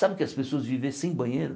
Sabe o que é as pessoas viver sem banheiro?